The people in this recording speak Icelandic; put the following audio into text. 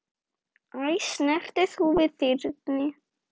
Æ, snertir þú við þyrni?